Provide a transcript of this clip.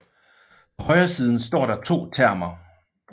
På højresiden står der to termer